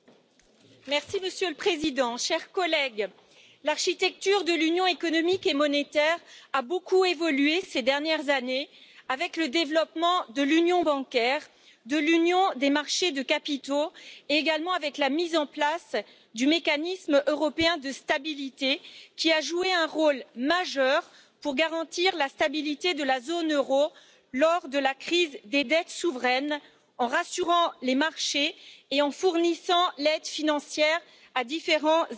Monsieur le Président, chers collègues, l'architecture de l'Union économique et monétaire a beaucoup évolué ces dernières années avec le développement de l'union bancaire et de l'union des marchés des capitaux, ainsi qu'avec la mise en place du Mécanisme européen de stabilité, qui a joué un rôle majeur pour garantir la stabilité de la zone euro lors de la crise des dettes souveraines en rassurant les marchés et en fournissant une aide financière à différents États membres.